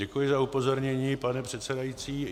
Děkuji za upozornění, pane předsedající.